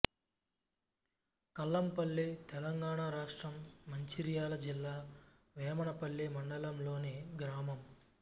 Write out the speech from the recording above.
కల్లంపల్లి తెలంగాణ రాష్ట్రం మంచిర్యాల జిల్లా వేమనపల్లి మండలంలోని గ్రామం